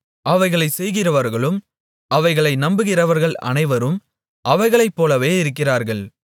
அவைகளைச் செய்கிறவர்களும் அவைகளை நம்புகிறவர்கள் அனைவரும் அவைகளைப்போலவே இருக்கிறார்கள்